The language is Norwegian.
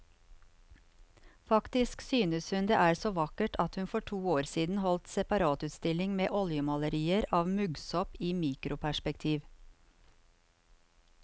Faktisk synes hun det er så vakkert at hun for to år siden holdt separatutstilling med oljemalerier av muggsopp i mikroperspektiv.